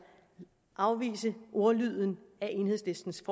afvise ordlyden af enhedslistens